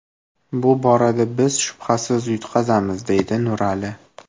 Bu borada biz shubhasiz yutqazamiz, deydi Nurali.